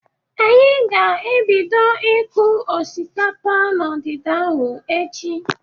Anyị ga-ebido ịkụ osikapa n'ọdịda ahụ echi.